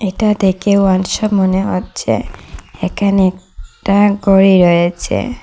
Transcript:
এটা দেকে one shop মনে হচ্চে এখানে একটা গড়ি রয়েচে।